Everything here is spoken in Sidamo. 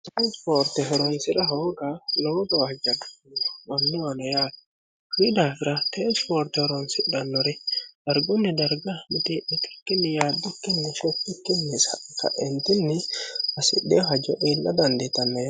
Te ispoorte horonsi'ra hooga lowo gawwajjo mannuwa noo yaate kuni daafira tee isipoorte horoonsidhannori dargunni darga miteemitukinni yaaddukinni shettikkini kaentinni hssidino hajo iilla dandittanno